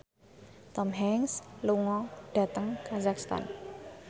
Tom Hanks lunga dhateng kazakhstan